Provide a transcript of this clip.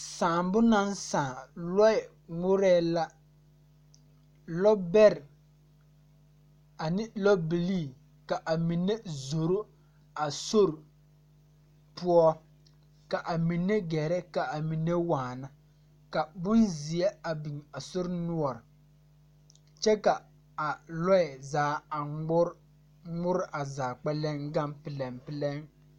Sããbo naŋ sãã lɔɔ ngmɔrɛɛ la lɔ bɛrɛ ane lɔ bilii ka a mine zoro a sore poɔ ka a mine gɛrɛ ka a mine waana ka bonzeɛ a biŋ a sore noɔre kyɛ ka a lɔɛ zaa a ngmɔre ngmɔre a zaa kpɛleŋ gaŋ pilɛŋpilɛŋ.